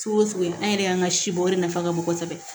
Fogo fogo an yɛrɛ y'an ka si bɔ o de nafa ka bon kosɛbɛ